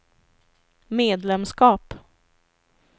medlemskap